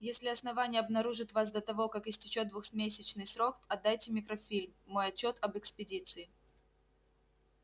если основание обнаружит вас до того как истечёт двухмесячный срок отдайте микрофильм мой отчёт об экспедиции